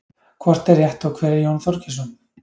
hvort er rétt og hver er jón þorgeirsson